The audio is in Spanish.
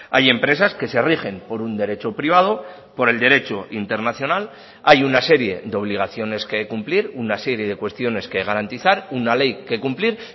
hay empresas que se rigen por un derecho privado por el derecho internacional hay una serie de obligaciones que cumplir una serie de cuestiones que garantizar una ley que cumplir